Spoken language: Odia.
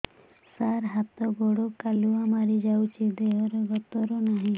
ସାର ହାତ ଗୋଡ଼ କାଲୁଆ ମାରି ଯାଉଛି ଦେହର ଗତର ନାହିଁ